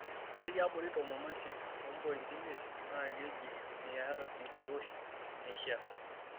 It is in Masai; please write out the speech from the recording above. Ore tiabori tomon oisiet ompointi imiet na keji miyata enkiroshi naishaa.